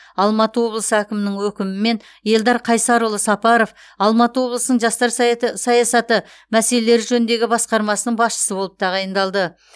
алматы облысы әкімінің өкімімен елдар қайсарұлы сапаров алматы облысының жастар саяты саясаты мәселелері жөніндегі басқармасының басшысы болып тағайындалды